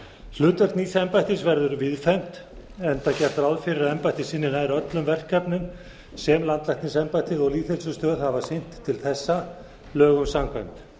hlutverk nýs embættis verður víðfeðmt enda gert ráð fyrir að embættið sinni nær öllum verkefnum sem landlæknisembættið og lýðheilsustöð hafa sinnt til þessa lögum samkvæmt